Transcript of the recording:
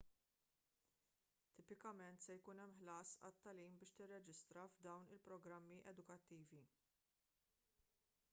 tipikament se jkun hemm ħlas għat-tagħlim biex tirreġistra f'dawn il-programmi edukattivi